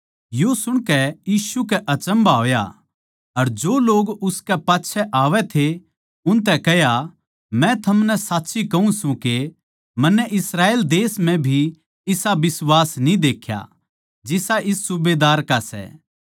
यो सुणकै यीशु कै अचम्भा होया अर जो लोग उसकै पाच्छै आवै थे उनतै कह्या मै थमनै साच्ची कहूँ सूं के मन्नै इस्राएल देश म्ह भी इसा बिश्वास न्ही देख्या जिसा इस सूबेदार का सै